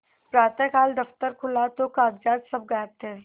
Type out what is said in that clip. प्रातःकाल दफ्तर खुला तो कागजात सब गायब थे